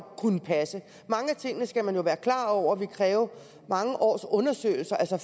passe mange af tingene skal man jo være klar over vil kræve mange års undersøgelser altså